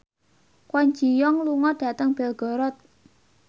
Kwon Ji Yong lunga dhateng Belgorod